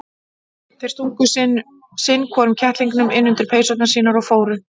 Þeir stungu sinn hvorum kettlingnum inn undir peysurnar sínar og fóru.